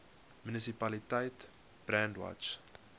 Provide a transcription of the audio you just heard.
munisipaliteit brandwatch